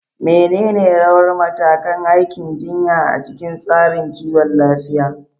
Menene rawar da ma'aikatan aikin jinya a cikin tsarin kiwon lafiya?